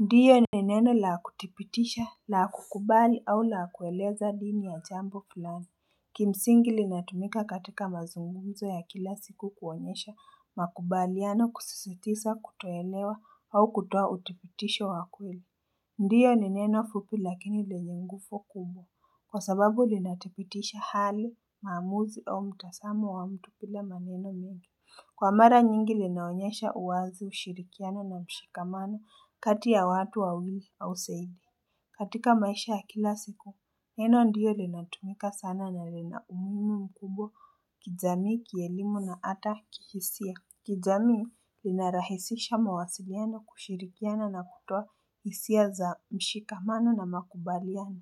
Ndiyo ni neno la hakutipitisha la kukubali au la kueleza dini ya jambo fullani kimsingi linatumika katika mazungumzo ya kila siku kuonyesha makubaliano kususitisa kutoelewa au kutoa utipitisha wakweli ndiyo ni neno fupi lakini le nyingufo kubwa kwa sababu linatipitisha hali maamuzi au mtasamo wa mtu pila maneno nyingi Kwa mara nyingi linaonyesha uwazi ushirikiana na mshikamana kati ya watu wa wili au zaidi katika maisha ya kila siku, neno ndiyo linatumika sana na linaumuhimu mkubwa kijamii, kielimu na ata kihisia Kizami linarahisisha mawasiliano kushirikiana na kutoa hisia za mshikamano na makubaliano